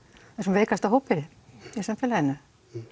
veikasta hópi í samfélaginu